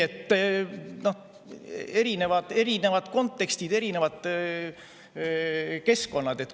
Nii et erinevad kontekstid, erinevad keskkonnad.